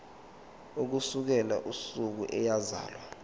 ukusukela usuku eyazalwa